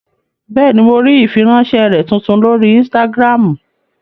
Bẹ́ẹ̀ni, mo rí ìfiránsẹ́ rẹ tuntun lórí ínstágíráàmù